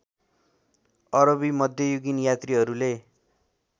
अरबी मध्ययुगीन यात्रीहरूले